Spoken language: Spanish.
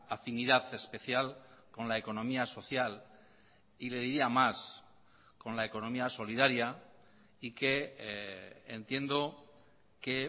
afinidad especial con la economía social y le diría más con la economía solidaria y que entiendo que